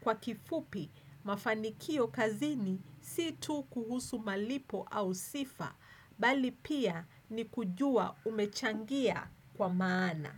Kwa kifupi, mafanikio kazini si tu kuhusu malipo au sifa, bali pia ni kujua umechangia kwa maana.